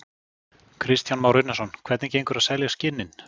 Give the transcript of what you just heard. Kristján Már Unnarsson: Hvernig gengur að selja skinnin?